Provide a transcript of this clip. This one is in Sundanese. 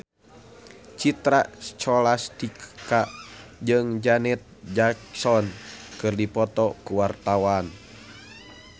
Citra Scholastika jeung Janet Jackson keur dipoto ku wartawan